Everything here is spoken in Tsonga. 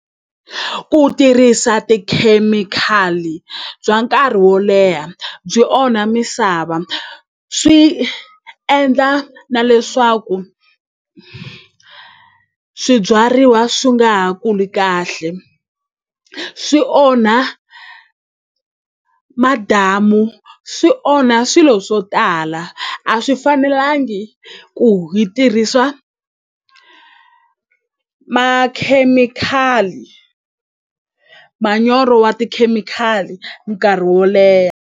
Ku tirhisa tikhemikhali bya nkarhi wo leha byi onha misava swi endla na leswaku swibyariwa swi nga ha kuli kahle swi onha madamu swi onha swilo swo tala a swi fanelangi ku hi tirhisa makhemikhali manyoro wa tikhemikhali nkarhi wo leha.